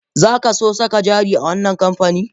Zaka so saka jari a wani kamfani?